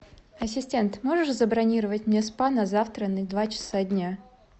ассистент можешь забронировать мне спа на завтра на два часа дня